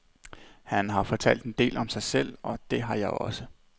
Han har fortalt en del om sig selv, og det har jeg også.